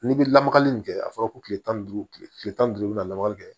N'i bɛ lamagali nin kɛ a fɔra ko kile tan ni duuru tile tan ni duuru i bɛ na lamagali kɛ